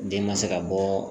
Den ka se ka bɔ